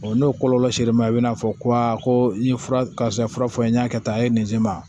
n'o kɔlɔlɔ ser'e ma i bɛna'a fɔ ko aa ko i ye fura karisa fura fɔ n ye n y'a kɛ tan a ye nin se ma